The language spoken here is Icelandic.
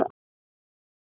Ólína Gyða.